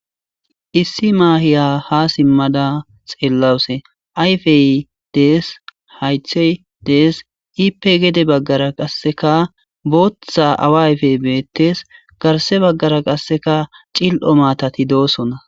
issi maahiya ha simmada xeellawuse ayfey dees haythey dees iipe gede baggara qasseka booththa awa ayfey beettes garse baggara qasseka cil7o maatati doosona